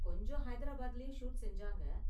கொஞ்சம் ஹைதராபாத்லயும் ஷூட் செஞ்சாங்க.